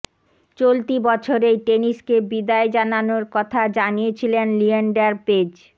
চলতি বছরেই টেনিসকে বিদায় জানানোর কথা জানিয়েছিলেন লিয়েন্ডার পেজ